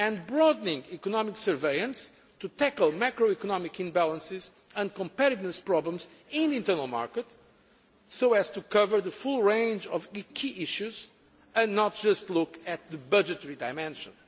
broadening economic surveillance to tackle macro economic imbalances and comparing those problems in the internal market so as to cover the full range of key issues and not just look at the budgetary dimension.